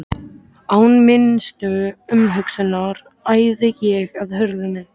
Án minnstu umhugsunar æði ég að hurðinni.